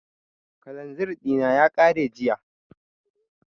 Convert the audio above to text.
Kalanzir ɗina ya ƙare jiya